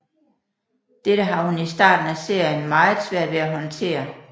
Dette har hun i starten af serien meget svært ved at håndtere